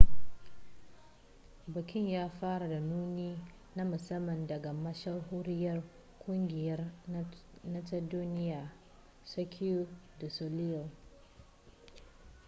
bikin ya fara da nuni na musamman daga mashahuriyar kungiyar nan ta duniya cirque du soleil